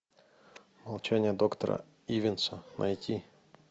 молчание доктора ивенса найти